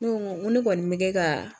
Ko n ko ne kɔni bɛ kɛ ka